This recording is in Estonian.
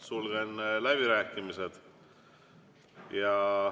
Sulgen läbirääkimised.